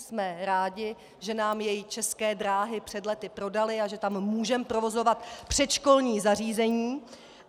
Jsme rádi, že nám jej České dráhy před lety prodaly a že tam můžeme provozovat předškolní zařízení.